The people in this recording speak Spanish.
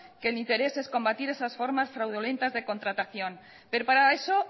que mi interés es combatir esas formas fraudulentas de contratación pero para eso